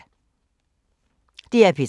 DR P3